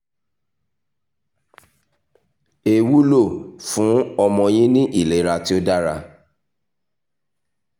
e wúlò fún ọmọ yín ní ìlera tí ó dára